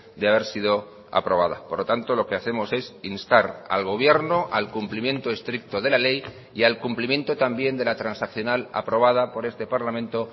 de haber sido aprobada por lo tanto lo que hacemos es instar al gobierno al cumplimiento estricto de la ley y al cumplimiento también de la transaccional aprobada por este parlamento